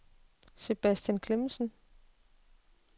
Sebastian Clemmensen